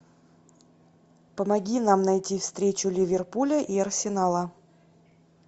помоги нам найти встречу ливерпуля и арсенала